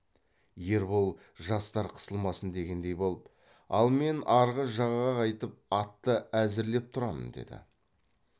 ербол жастар қысылмасын дегендей болып ал мен арғы жағаға қайтып атты әзірлеп тұрамын деді